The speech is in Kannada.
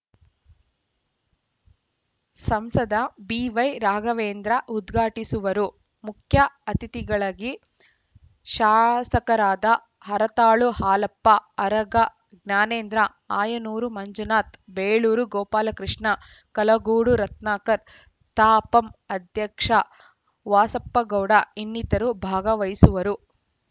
ಸಂಸದ ಬಿವೈ ರಾಘವೇಂದ್ರ ಉದ್ಘಾಟಿಸುವರು ಮುಖ್ಯಅತಿಥಿಗಳಗಿ ಶಾಸಕರಾದ ಹರತಾಳು ಹಾಲಪ್ಪ ಅರಗ ಜ್ಞಾನೇಂದ್ರ ಆಯನೂರು ಮಂಜುನಾಥ್‌ ಬೇಳೂರು ಗೋಪಾಲಕೃಷ್ಣ ಕಲಗೋಡು ರತ್ನಾಕರ್‌ ತಾಪಂ ಅಧ್ಯಕ್ಷ ವಾಸಪ್ಪಗೌಡ ಇನ್ನಿತರು ಭಾಗವಹಿಸುವರು